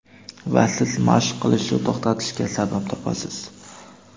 Va siz mashq qilishni to‘xtatishga sabab topasiz.